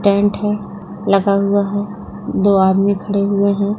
एक टेंट है लगा हुआ है दो आदमी खड़े हुए हैं।